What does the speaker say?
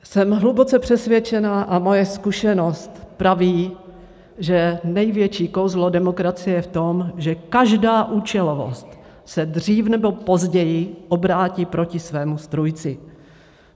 Jsem hluboce přesvědčena a moje zkušenost praví, že největší kouzlo demokracie je v tom, že každá účelovost se dřív nebo později obrátí proti svému strůjci.